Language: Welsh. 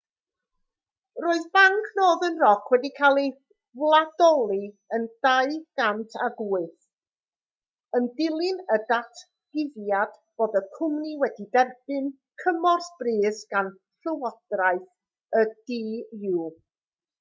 roedd banc northern rock wedi cael ei wladoli yn 2008 yn dilyn y datguddiad bod y cwmni wedi derbyn cymorth brys gan lywodraeth y du